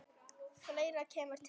Fleira kemur til.